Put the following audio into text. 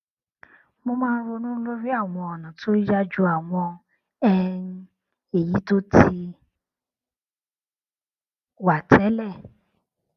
mo máa ń ronú lórí àwọn ònà tó yá ju àwọn um èyí tó ti wà tẹlẹ